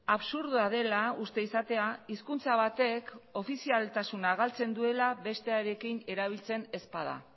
absurdoa dela uste izatea hizkuntza batek ofizialtasuna galtzen duela bestearekin erabiltzen ez bada